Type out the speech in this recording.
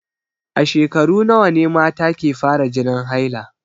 A shekaru nawa ne mata ke fara jinin haila.